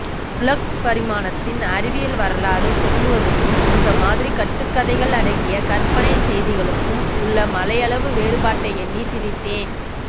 உலக் பரிணாமத்தின் அறிவியல் வரலாறு சொல்லுவதுக்கும் இந்த மாதிரி கட்டுக்கதைகள் அடங்கிய கறபனைச்செய்திகளுக்கும் உள்ள மலையளவு வேறுபாட்டை எண்ணி சிரித்தேன்